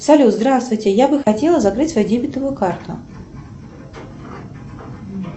салют здравствуйте я бы хотела закрыть свою дебетовую карту